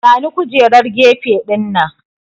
Bani kujerar gefe dinnan!